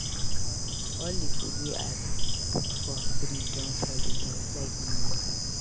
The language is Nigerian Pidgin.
All di food wey I put for fridge don spoil because light no dey.